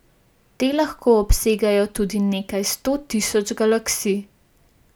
Te lahko obsegajo tudi nekaj sto tisoč galaksij.